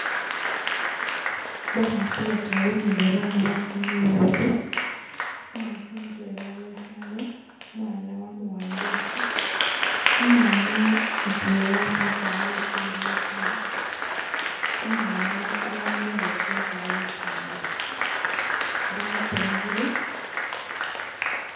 Bakhasi bataru ni babana basinde babili umukhasi mutwela wekhale umwana wamuwambilekho umwana mutwela tsagwarile tsingubo ta umwana babaramile bosi bakwarile tsingubo basanyukhile